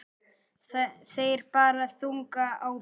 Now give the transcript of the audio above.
Þeir bera þunga ábyrgð.